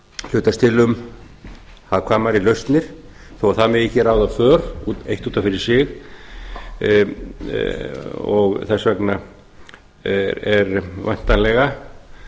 hlutast til um hagkvæmari lausnir þó það megi ekki ráða för eitt út af fyrir sig og þess vegna er væntanlega